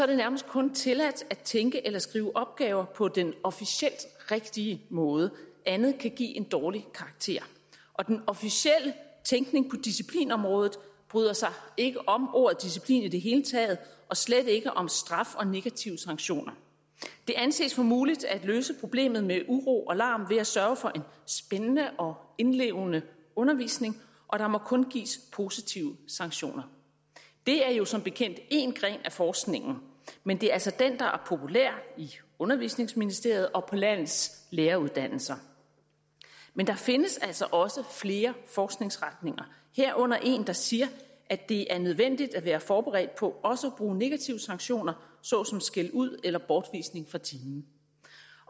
det nærmest kun tilladt at tænke eller skrive opgaver på den officielt rigtige måde andet kan give en dårlig karakter og den officielle tænkning på disciplinområdet bryder sig ikke om ordet disciplin i det hele taget og slet ikke om straf og negative sanktioner det anses for muligt at løse problemet med uro og larm ved at sørge for en spændende og indlevende undervisning og der må kun gives positive sanktioner det er jo som bekendt én gren af forskningen men det er altså den der er populær i undervisningsministeriet og på landets læreruddannelser men der findes altså også flere forskningsretninger herunder en der siger at det er nødvendigt at være forberedt på også bruge negative sanktioner såsom skældud eller bortvisning fra timen